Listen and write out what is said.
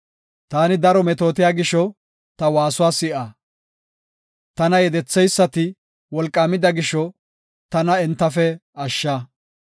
Taani daro metootiya gisho, ta waasuwa si7a. Tana yedetheysati wolqaamida gisho, tana entafe ashsha.